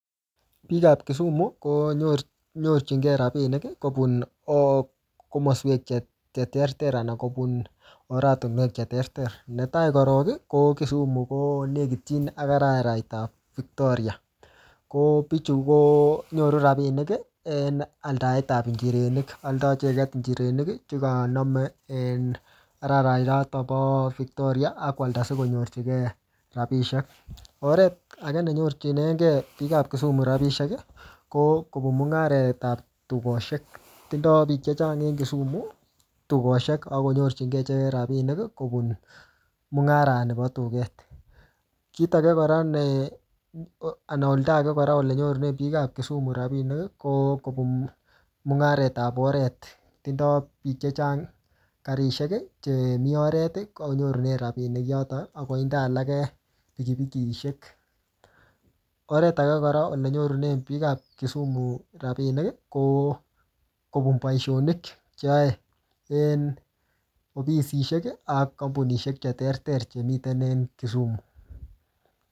Biik ap Kisumu, ko nyorchi-nyorchinkei rabinik kobun um komaswek che ter ter, anan kobun oratunwek che ter ter. Ne tai korok, ko Kisumu ko nekitchin ak arairat ap Victoria. Ko pichu konyoru rabinik, en aldaet ap njirenik. Aldoi icheket njirenik, chekaname en arairairotok po Victoria akwalda sikonyorchike rabisiek. Oret age nenyorchinenkei biiik ak Kisumu rabisiek, ko kobun mung'aret ap tukoshek. Tindoi biik chechang eng Kisumu tukoshek, akonyorchikei icheket rabinik, ko kobun mung'aret nibo tuket. Kiit age kora, anan ulda age kora ko kobun mung'aret ap oret. Tindoi biik chechang karishek, chemii oret, konyorune rabinik yotok, akoinde alage pikipikishek. Oret age kora, nenyorune biik ap Kisumu rabinik, ko kobun boisonik che yae en ofisishek ak kampunishek che ter ter che miten en Kisumu